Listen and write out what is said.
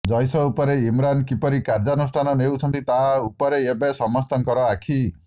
ଜୈସ ଉପରେ ଇମ୍ରାନ କିପରି କାର୍ଯ୍ୟାନୁଷ୍ଠାନ ନେଉଛନ୍ତି ତା ଉପରେ ଏବେ ସମସ୍ତଙ୍କ ଆଖି